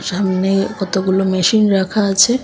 সামনে কতগুলো মেশিন রাখা আছে।